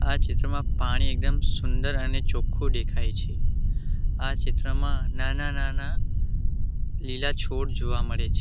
આ ચિત્રમાં પાણી એકદમ સુંદર અને ચોખ્ખું દેખાય છે આ ચિત્રમાં નાના નાના લીલા છોડ જોવા મળે છે.